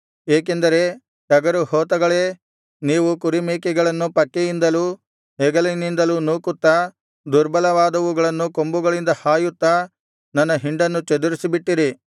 ಏಕೆಂದರೆ ಟಗರುಹೋತಗಳೇ ನೀವು ಕುರಿಮೇಕೆಗಳನ್ನು ಪಕ್ಕೆಯಿಂದಲೂ ಹೆಗಲಿನಿಂದಲೂ ನೂಕುತ್ತಾ ದುರ್ಬಲವಾದವುಗಳನ್ನು ಕೊಂಬುಗಳಿಂದ ಹಾಯುತ್ತಾ ನನ್ನ ಹಿಂಡನ್ನು ಚದುರಿಸಿಬಿಟ್ಟಿರಿ